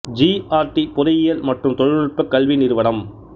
G R T பொறியியல் மற்றும் தொழில்நுட்ப கல்வி நிறுவனம்